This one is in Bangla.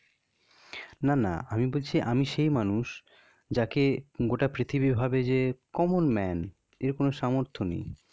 না না আমি বলছি আমি সেই মানুষ যাকে গোটা পৃথিবী ভাবে যে common man এর করার সামর্থ্য নেই.